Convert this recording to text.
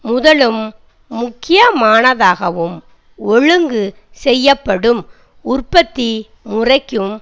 முதலும் முக்கியமானதாகவும் ஒழுங்கு செய்யப்படும் உற்பத்தி முறைக்கும்